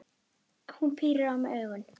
Hún pírir á mig augun.